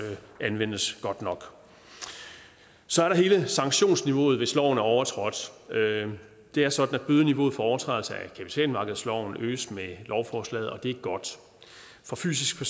anvendes godt nok så er der hele sanktionsniveauet hvis loven er overtrådt det er sådan at bødeniveauet for overtrædelse af kapitalmarkedsloven øges med lovforslaget og det er godt for fysiske